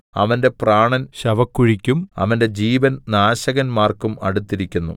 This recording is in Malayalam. അവന്റെ പ്രാണൻ ശവക്കുഴിക്കും അവന്റെ ജീവൻ നാശകന്മാർക്കും അടുത്തിരിക്കുന്നു